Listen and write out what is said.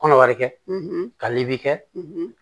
Kɔnɔbara kɛ kalibi kɛ